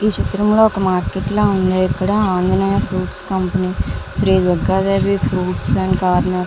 ఈ చిత్రంలో ఒక మార్కెట్ లాగా ఉన్నది. ఇక్కడ ఫుడ్స్ షాప్ . శ్రీ దుర్గాదేవి పండ్లు మరియు కోనర్--